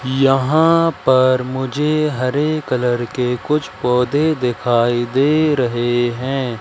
यहां पर मुझे हरे कलर के कुछ पौधे दिखाई दे रहे हैं।